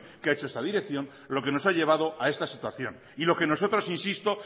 que ha hecho esta dirección lo que nos ha llevado a esta situación y lo que nosotros insisto